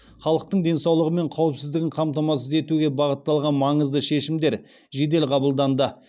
халықтың денсаулығы мен қауіпсіздігін қамтамасыз етуге бағытталған маңызды шешімдер жедел қабылданды